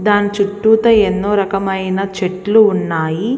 దాన్ని చుట్టూతా ఎన్నో రకములైన చెట్లు ఉన్నాయి.